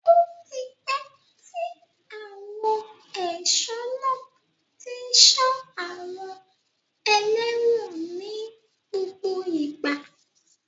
Ó ti pẹ́ tí àwọn ẹ̀ṣọ́ náà tí ń ṣọ́ àwọn ẹlẹ́wọ̀n ní gbogbo ìgbà.